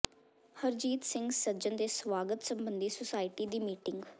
ਹਰਜੀਤ ਸਿੰਘ ਸੱਜਣ ਦੇ ਸਵਾਗਤ ਸਬੰਧੀ ਸੁਸਾਇਟੀ ਦੀ ਮੀਟਿੰਗ